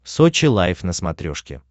сочи лайв на смотрешке